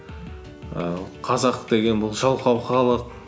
ііі қазақ деген бұл жалқау халық